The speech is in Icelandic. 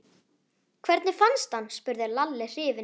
Hvernig fannstu hann? spurði Lalli hrifinn.